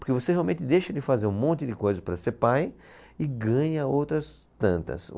Porque você realmente deixa de fazer um monte de coisas para ser pai e ganha outras tantas.